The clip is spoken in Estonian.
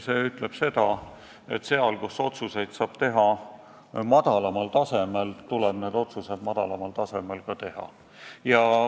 See ütleb, et seal, kus otsuseid saab teha madalamal tasemel, tuleb need otsused madalamal tasemel ka teha.